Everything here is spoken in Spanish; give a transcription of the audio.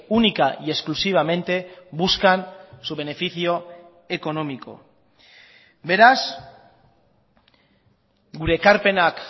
única y exclusivamente buscan su beneficio económico beraz gure ekarpenak